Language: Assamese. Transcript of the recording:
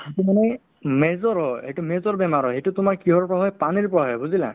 এইটো মানে major হয় এইটো major বেমাৰ হয় এইটো তোমাৰ কিহৰ পৰা হয় পানীৰ পৰা হয় বুজিলা